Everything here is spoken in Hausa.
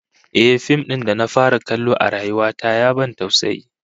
Ehh, fim din da na fara kallo a rayuwa ta ya ban tausayi